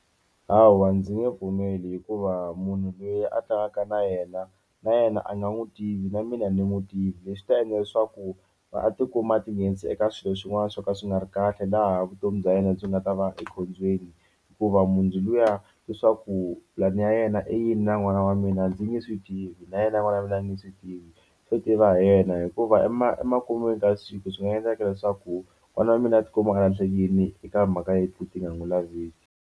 Hawa ndzi nge pfumeli hikuva munhu loyi a tlangaka na yena na yena a nga n'wi tivi na mina ni n'wi tivi leswi ta endla leswaku va a ti kuma a ti nghenisa eka swilo swin'wana swo ka swi nga ri kahle laha vutomi bya yena byi nga ta va ekhombyeni hikuva munhu luya leswaku pulani ya yena i yini na n'wana wa mina ndzi nge swi tivi na yena vulavula ni swi tivi swo tiva hi yena hikuva emakun'wini ka siku swi nga endleka leswaku n'wana wa mina a tikuma a handle ka yini eka timhaka leti ti nga n'wi laviki.